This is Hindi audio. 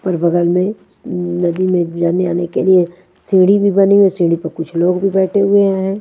पर बगल में मम नदी जाने आने के लिए सीढ़ी भी बनी हुई सीढ़ी पर कुछ लोग भी बैठे हुए हैं।